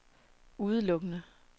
udelukkende